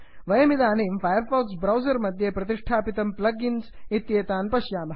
वयमिदानीं Firefox browser मध्ये संस्थापितं प्लग् इन्स् इत्येतान् पश्यामः